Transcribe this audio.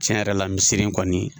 Tiɲɛ yɛrɛ la misiri kɔni